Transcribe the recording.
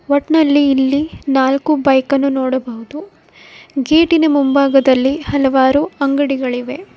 ಒಟ್ನಲ್ಲಿ ಇಲ್ಲಿ ನಾಲ್ಕು ಬೈಕ್ ಅನ್ನು ನೋಡಬಹುದು ಗೇಟಿನ ಮುಂಭಾಗದಲ್ಲಿ ಹಲವಾರು ಅಂಗಡಿಗಳಿವೆ.